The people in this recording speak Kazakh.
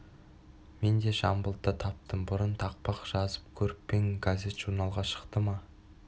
мен де жамбылды таптым бұрын тақпақ жазып көріп пе ең газет-журналға шықты ма